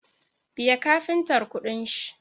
Biya kafintar kuɗin shi